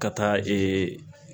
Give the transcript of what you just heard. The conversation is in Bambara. Ka taa ee